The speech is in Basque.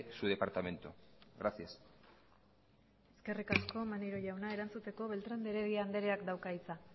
su departamento gracias eskerrik asko manerio jauna erantzuteko beltrán de herediak dauka hitza